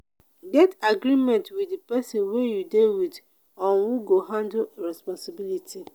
get agreement with di persin wey you de with on who go handle responsibility